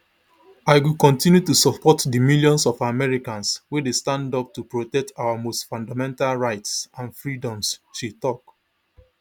i go continue to support di millions of americans wey dey stand up to protect our most fundamental rights and freedoms she tok